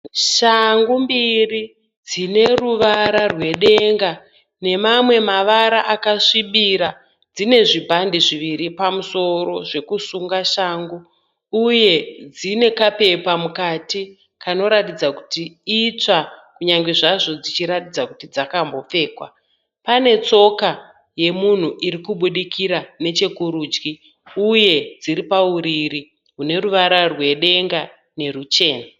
Shangu mbiri dzineruvara rwedenga nemamwe mavara akasvibira. Dzine zvibhande zviviri pamusoro zvekusunga shangu uye dzinekapepa mukati kanoratidza kuti itsva kunyangwe zvazvo dzichiratidza kuti dzakambopfekwa. Panetsoka yemunhu irikubudikira nechekurudyi uye dzIri pauriri hwuneruvara rwedenga nerwuchena.